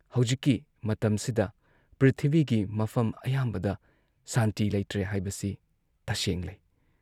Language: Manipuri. ꯍꯧꯖꯤꯛꯀꯤ ꯃꯇꯝꯁꯤꯗ ꯄ꯭ꯔꯤꯊꯤꯕꯤꯒꯤ ꯃꯐꯝ ꯑꯌꯥꯝꯕꯗ ꯁꯥꯟꯇꯤ ꯂꯩꯇ꯭ꯔꯦ ꯍꯥꯏꯕꯁꯤ ꯇꯁꯦꯡꯂꯦ ꯫